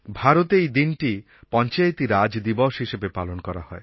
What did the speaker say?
ভারতে এই দিনটি পঞ্চায়েতি রাজ দিবস হিসেবে পালন করা হয়